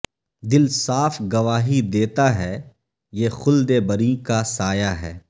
دل صاف گواہی دیتا ہے یہ خلدبریں کا سایہ ہے